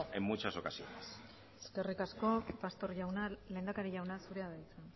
en muchas ocasiones eskerrik asko pastor jauna lehendakari jauna zurea da hitza